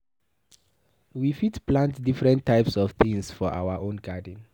We fit plant different types of things for our own garden